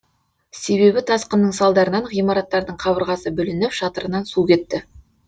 себебі тасқынның салдарынан ғимараттардың қабырғасы бүлініп шатырынан су кетті